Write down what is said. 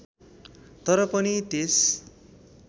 तर पनि त्यस